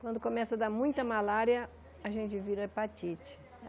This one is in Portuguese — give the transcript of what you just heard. Quando começa a dar muita malária, a gente vira hepatite.